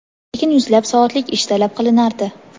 lekin yuzlab soatlik ish talab qilinardi.